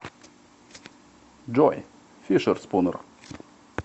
джой фишерспунер